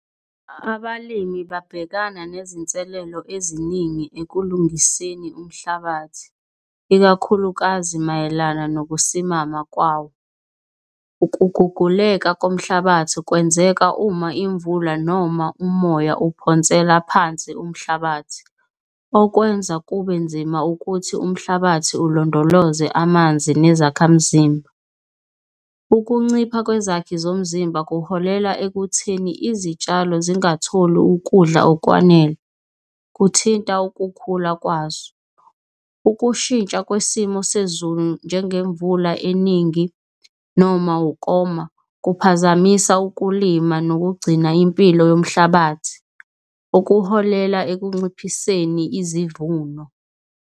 Abalimi babhekana nezinselelo eziningi ekulungiseni umhlabathi, ikakhulukazi mayelana nokusimama kwawo. Ukuguguleka komhlabathi kwenzeka uma imvula noma umoya uphonsela phansi umhlabathi. Okwenza kube nzima ukuthi umhlabathi ulondoloze amanzi nezakhamzimba. Ukuncipha kwezakhi zomzimba kuholela ekutheni izitshalo zingatholi ukudla okwanele, kuthinta ukukhula kwazo. Ukushintsha kwesimo sezulu njengemvula eningi noma ukoma, kuphazamisa ukulima nokugcina impilo yomhlabathi, okuholela ekunciphiseni izivuno.